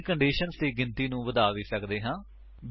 ਅਸੀ ਕੰਡੀਸ਼ੰਸ ਦੀ ਗਿਣਤੀ ਨੂੰ ਵਧਾ ਵੀ ਸੱਕਦੇ ਹਾਂ